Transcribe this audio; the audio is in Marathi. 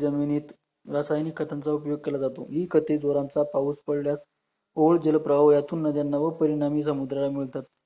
जमिनीत रासायनिक खतांचा उपयोग केला जातो, ही खते जोरांचा पाऊस पडलयास ओल जलप्रवाह यातून नद्याना व परिणामी समुद्राला मिळतात